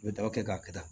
I bɛ daba kɛ k'a kɛ tan